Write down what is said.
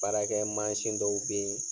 Baarakɛ dɔw be yen